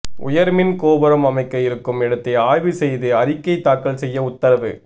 உயர்மின் கோபுரம் அமைக்க இருக்கும் இடத்தை ஆய்வு செய்து அறிக்கை தாக்கல் செய்ய உத்தரவு